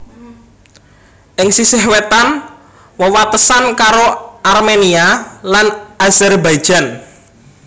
Ing sisih wétan wewatesan karo Armenia lan Azerbaijan